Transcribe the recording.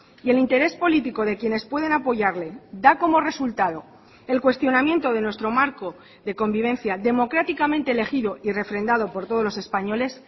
y el interés político de quienes pueden apoyarle da como resultado el cuestionamiento de nuestro marco de convivencia democráticamente elegido y refrendado por todos los españoles